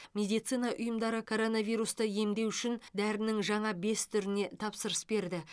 медицина ұйымдары коронавирусты емдеу үшін дәрінің жаңа бес түріне тапсырыс берді